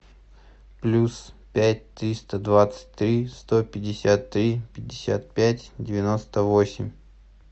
плюс пять триста двадцать три сто пятьдесят три пятьдесят пять девяносто восемь